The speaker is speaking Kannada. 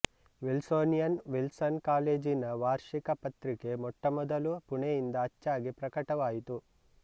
ವಿಲ್ಸೋನಿಯನ್ ವಿಲ್ಸನ್ ಕಾಲೇಜಿನ ವಾರ್ಷಿಕ ಪತ್ರಿಕೆ ಮೊಟ್ಟಮೊದಲು ಪುಣೆಯಿಂದ ಅಚ್ಚಾಗಿ ಪ್ರಕಟವಾಯಿತು